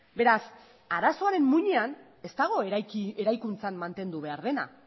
beraz arazoaren muinean ez dago eraikuntzan mantendu behar dena